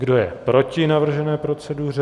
Kdo je proti navržené proceduře?